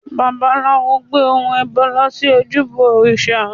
Babaláwo gbé ohun ẹbọ lọ sí ojúbọ òrìṣà